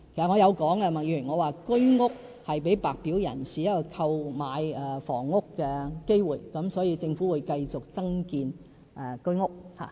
我曾說過，居屋是給白表人士一個購買房屋的機會，所以政府會繼續增建居屋。